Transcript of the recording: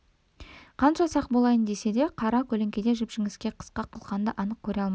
қанша сақ болайын десе де қара көлеңкеде жіп-жіңішке қысқа қылқанды анық көре алмайды